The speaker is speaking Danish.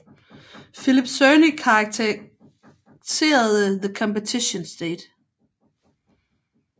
Philip Cerny karakteriserede The Competition State